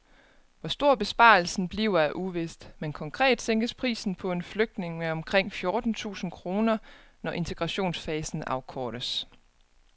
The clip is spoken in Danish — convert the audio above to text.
Hvor stor besparelsen bliver er uvist, men konkret sænkes prisen på en flygtning med omkring fjorten tusind kroner, når integrationsfasen afkortes.